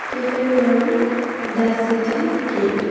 কেফের নাম the city cave.